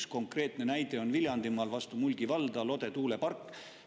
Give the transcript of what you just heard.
Üks konkreetne näide on Viljandimaal vastu Mulgi valda – Lode tuulepark.